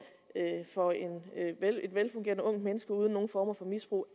et velfungerende ungt menneske uden nogen former for misbrug